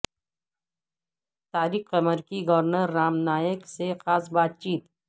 طارق قمر کی گورنر رام نائک سے خاص بات چیت